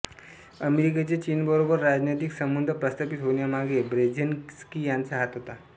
अमेरिकेचे चीनबरोबर राजनैतिक संबंध प्रस्थापित होण्यामागे ब्रेझिन्स्की यांचा हात होता